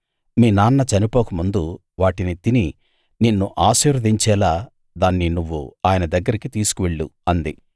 నీ నాన్న చనిపోకముందు వాటిని తిని నిన్ను ఆశీర్వదించేలా దాన్ని నువ్వు ఆయన దగ్గరికి తీసుకు వెళ్ళు అంది